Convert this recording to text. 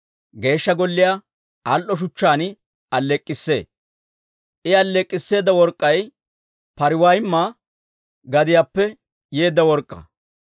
Geeshsha Golliyaa al"o shuchchaan alleek'k'issee; I alleek'k'isseeda work'k'ay Pariwayma gadiyaappe yeedda work'k'aa.